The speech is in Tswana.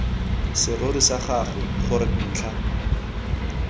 serori sa gago gore ntlha